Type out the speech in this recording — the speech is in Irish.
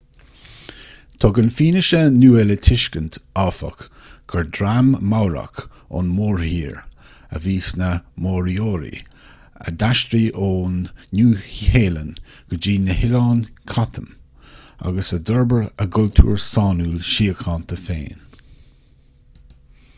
tugann fianaise nua le tuiscint áfach gur dream maorach ón mórthír a bhí sna moriori a d'aistrigh ón nua-shéalainn go dtí na hoileáin chatham agus a d'fhorbair a gcultúr sainiúil síochánta féin